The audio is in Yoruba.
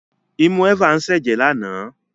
Imú Eva ń ṣẹ jẹ lana.